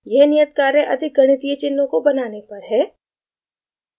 यह नियत कार्य अधिक गणितीय चिन्हों को बनाने पर है